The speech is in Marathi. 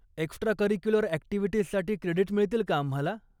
एक्स्ट्राकरिक्युलर ॲक्टिव्हिटीजसाठी क्रेडीट मिळतील का आम्हाला?